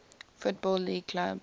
football league clubs